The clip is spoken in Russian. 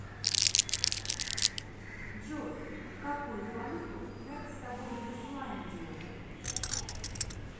джой какую валюту брать с собой в исландию